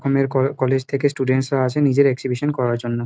ক কলেজ থেকে স্টুডেন্টস -রা আসে নিজের এক্সিবিশন করার জন্য।